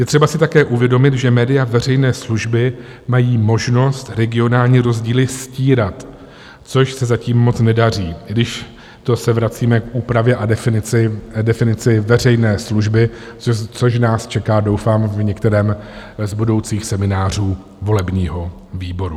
Je třeba si také uvědomit, že média veřejné služby mají možnost regionální rozdíly stírat, což se zatím moc nedaří, i když to se vracíme k úpravě a definici veřejné služby, což nás čeká, doufám, v některém z budoucích seminářů volebního výboru.